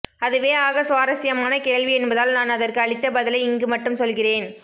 அதுவே ஆக சுவாரஸ்யமான கேள்வி என்பதால் நான் அதற்கு அளித்த பதிலை மட்டும் இங்கு சொல்கிறேன்